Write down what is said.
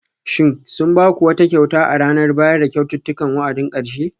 Shin sun ba ku wata kyauta a ranar bayar da kyaututtukan wa'adin karshe?